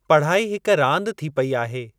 पढ़ाई हिक रांदि थी पई आहे।